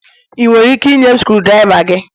Ị nwere ike ịnye m screwdriva gị?